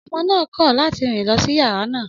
Ọmọ náà kọ̀ láti rìn lọ sí yàrá náà.